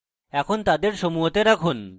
এখন তাদের সমূহতে রাখুন